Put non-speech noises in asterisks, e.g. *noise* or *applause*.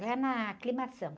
Lá na. *unintelligible*